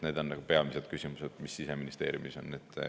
Need on peamised küsimused, mis Siseministeeriumis on.